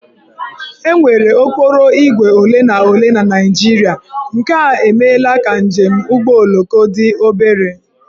E nwere okporoígwè ole na ole na Naịjirịa nke a emeela ka njem ụgbọoloko dị obere